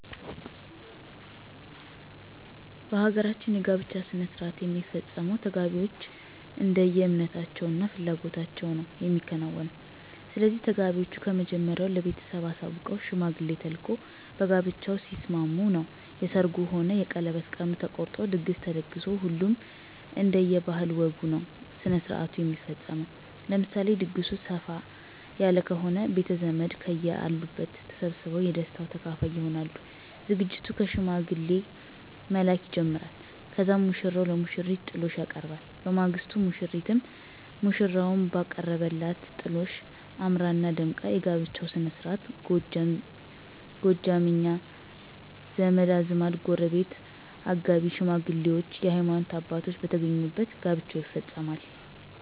በ ሀገራችን የ ጋብቻ ሥነሥርዓት የሚፈፀመው ተጋቢዎች እንደየ እምነታቸው እና ፍላጎታቸው ነዉ የሚከናወነው። ስለዚህ ተጋቢዎች ከመጀመሪያው ለ ቤተሰብ አሳውቀው ሽማግሌ ተልኮ በጋብቻው ሲስማሙ ነው የ ሰርጉ ሆነ የቀለበት ቀን ተቆርጦ ድግስ ተደግሶ ሁሉም እንደየ ባህል ወጉ ነዉ ስነስርዓቱ የሚፈፀመው። ለምሳሌ ድግሱ ሰፍ ያለ ከሆነ ቤተዘመድ ከየ አሉበት ተሰባስበው የ ደስታው ተካፋይ ይሆናሉ። ዝግጅቱ ከ ሽማግሌ መላክ ይጀመራል ከዛም ሙሽራው ለሙሽሪት ጥሎሽ ያቀርባል። በማግስቱ ሙሽሪትም ሙሽራው ባቀረበላት ጥሎሽ አምራና ደምቃ የ ጋብቻቸው ስነስርዓት ጎደኛ, ዘመድአዝማድ, ጎረቤት ,አጋቢ ሽማግሌዎች የ ሀይማኖት አባቶች በተገኙበት ጋብቻው ይፈፀማል።